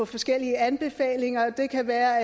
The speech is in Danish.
forskellige anbefalinger det kan være